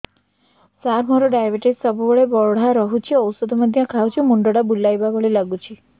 ସାର ମୋର ଡାଏବେଟିସ ସବୁବେଳ ବଢ଼ା ରହୁଛି ଔଷଧ ମଧ୍ୟ ଖାଉଛି ମୁଣ୍ଡ ଟା ବୁଲାଇବା ଭଳି ଲାଗୁଛି